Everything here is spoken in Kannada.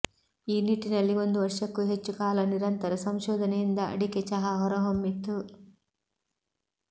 ಈ ನಿಟ್ಟಿನಲ್ಲಿ ಒಂದು ವರ್ಷಕ್ಕೂ ಹೆಚ್ಚು ಕಾಲ ನಿರಂತರ ಸಂಶೋಧನೆಯಿಂದ ಅಡಿಕೆ ಚಹಾ ಹೊರಹೊಮ್ಮಿತು